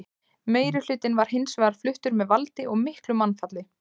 Meirihlutinn var hins vegar fluttur með valdi og miklu mannfalli.